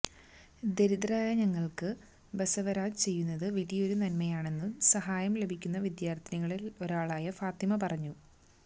ദരിദ്രരായ തങ്ങൾക്ക് ബസവരാജ് ചെയ്യുന്നത് വലിയൊരു നന്മയാണെന്നു സഹായം ലഭിക്കുന്ന വിദ്യാർഥിനികളിലൊരാളായ ഫാത്തിമ പറഞ്ഞു